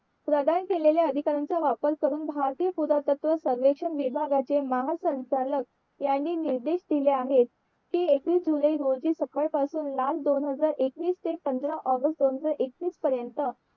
प्रधान केलेल्या अधिकारांचा वापर करून भारतीय पुरातत्व सर्वेक्षण विभागाचे महासंचालक ह्यांनी निर्देश दिले आहे कि एकवीस जुलै रोजी सकाळ पासून मार्च दोन हजार एकवीस ते पंधरा ऑगस्ट दोन हजार एकवीस पर्यंत